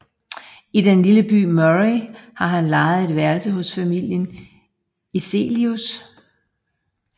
I den lille by Murray har han lejet et værelse hos familien Eselius